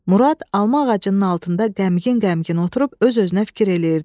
Murad alma ağacının altında qəmgin-qəmgin oturub öz-özünə fikir eləyirdi.